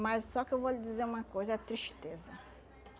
Mas só que eu vou lhe dizer uma coisa, é tristeza.